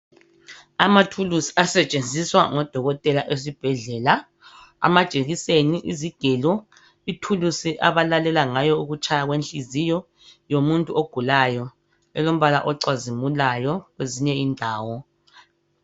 Amathulusi asetshenziswa ngodokotela esibhedlela. Amajekiseni, izigelo, ithulusi abalalela ngayo ukutshaya kwenhliziyo yomuntu ogulayo elombala ocazimulayo kwezinye indawo.